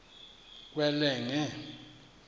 kwelenge